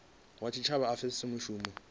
wa tshitshavha a pfesese mushumo